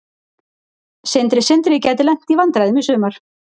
Sindri Sindri gæti lent í vandræðum í sumar.